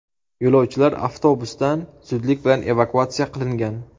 Yo‘lovchilar avtobusdan zudlik bilan evakuatsiya qilingan.